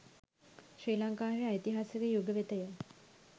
ශ්‍රී ලංකාවේ ඓතිහාසික යුග වෙතය.